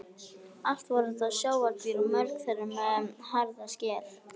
Allt voru þetta sjávardýr og mörg þeirra með harða skel.